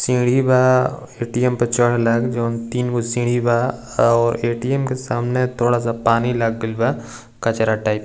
सीढ़ी बा ए.टी.एम. पे चढ़ेला जउन तीन गो सीढ़ी बा और ए.टी.एम. के सामने थोड़ा सा पानी लग गईल बा कचड़ा टाइप --